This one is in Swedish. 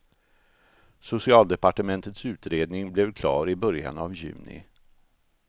Socialdepartementets utredning blev klar i början av juni.